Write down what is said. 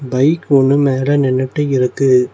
Bike ஒன்னு மேல நின்னுட்டு இருக்கு.